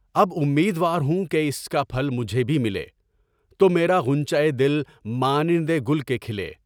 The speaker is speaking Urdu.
اب امیدوار ہوں کہ اس کا پھل مجھے بھی ملے، تو میرا غنچۂ دل مانند گل کے کھلے۔